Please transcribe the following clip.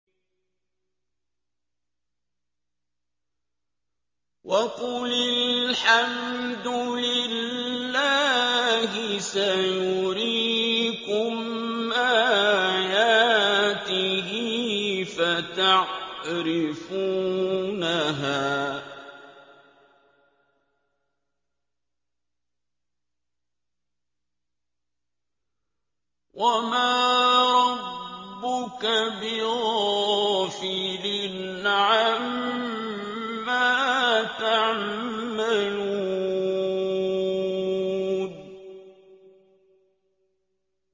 وَقُلِ الْحَمْدُ لِلَّهِ سَيُرِيكُمْ آيَاتِهِ فَتَعْرِفُونَهَا ۚ وَمَا رَبُّكَ بِغَافِلٍ عَمَّا تَعْمَلُونَ